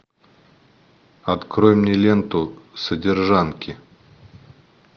открой мне ленту содержанки